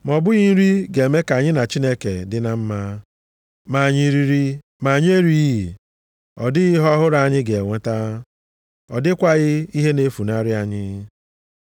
Ma ọ bụghị nri ga-eme ka anyị na Chineke dị na mma. Ma anyị riri ma anyị erighị, ọ dịghị ihe ọhụrụ anyị ga-enweta. Ọ dịkwaghị ihe na-efunarị anyị.